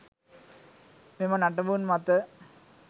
මෙම නටබුන් මත